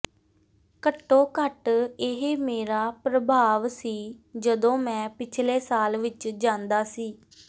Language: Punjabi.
ਘੱਟੋ ਘੱਟ ਇਹ ਮੇਰਾ ਪ੍ਰਭਾਵ ਸੀ ਜਦੋਂ ਮੈਂ ਪਿਛਲੇ ਸਾਲ ਵਿਚ ਜਾਂਦਾ ਸੀ